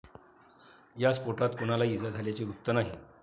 या स्फोटात कुणालाही इजा झाल्याचे वृत्त नाही.